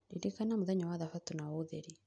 Ririkana mũthenya wa thabatũ na ũũtherie